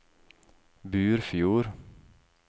Burfjord